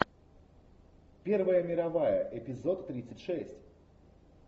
первая мировая эпизод тридцать шесть